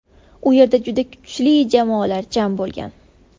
U yerda juda kuchli jamoalar jam bo‘lgan.